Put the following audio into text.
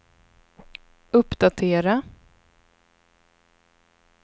uppdatera